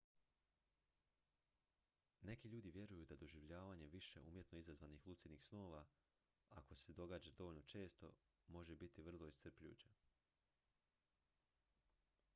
neki ljudi vjeruju da doživljavanje više umjetno izazvanih lucidnih snova ako se događa dovoljno često može biti vrlo iscrpljujuće